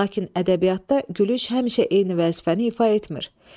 Lakin ədəbiyyatda gülüş həmişə eyni vəzifəni ifa etmir.